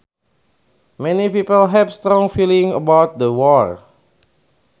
Many people have strong feelings about the war